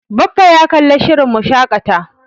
Baffa ya kalla shirin Mu shaƙata.